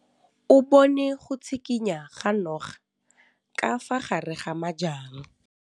O bone go tshikinya ga noga ka fa gare ga majang.